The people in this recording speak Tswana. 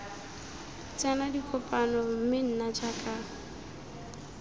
tsena dikopano mme nna jaaka